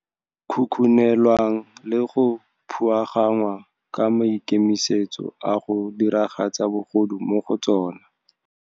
khukhunelwang le go phuagannngwa ka maikemisetso a go diragatsa bogodu mo go tsona.